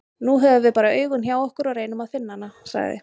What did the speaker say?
Nú höfum við bara augun hjá okkur og reynum að finna hana, sagði